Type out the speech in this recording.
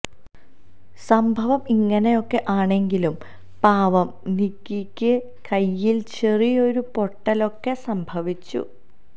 സംഭവം ഇങ്ങെയൊക്കെ ആണെങ്കിലും പാവം നിക്കിയ്ക്ക് കൈയ്യില് ചെറിയൊരു പൊട്ടലൊക്കെ സംഭവിച്ചു